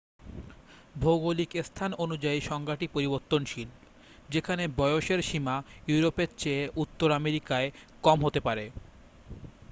ভৌগলিক স্থান অনুযায়ী সংজ্ঞাটি পরিবর্তনশীল যেখানে বয়সের সীমা ইউরোপের চেয়ে উত্তর আমেরিকায় কম হতে পারে